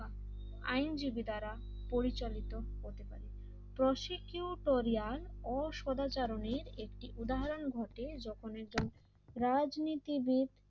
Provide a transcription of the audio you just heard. আইনজীবী দ্বারা পরিচালিত হতে পারে তো প্রসিকিউটোরিয়ান অসদাচরণের একটি উদাহরণ ঘটে যখন একজন রাজনীতিবিদ